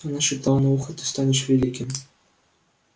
она шептала на ухо ты станешь великим